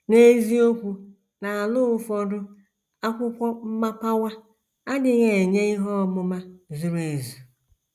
N’eziokwu, n’ala ụfọdụ akwụkwọ mmapawa adịghị enye ihe ọmụma zuru ezu.